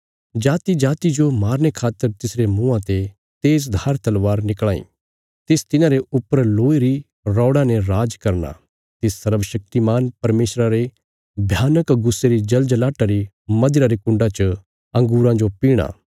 जातिजाति जो मारने खातर तिसरे मुँआं ते तेज धार तलवार निकल़ां इ तिस तिन्हांरे ऊपर लोहे री रौड़ा ने राज करना तिस सर्वशक्तिमान परमेशरा रे भयानक गुस्से री जलजलाहटा री मदिरा रे कुण्डा च अंगूरां जो पीहणा